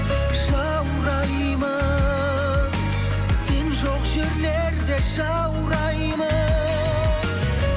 жаураймын сен жоқ жерлерде жаураймын